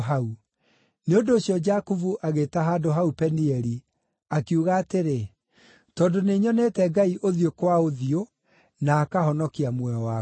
Nĩ ũndũ ũcio Jakubu agĩĩta handũ hau Penieli, akiuga atĩrĩ, “Tondũ nĩnyonete Ngai ũthiũ kwa ũthiũ, na akahonokia muoyo wakwa.”